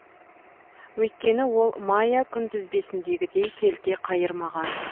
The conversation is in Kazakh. өйткені ол майя күнтізбесіндегідей келте қайырмаған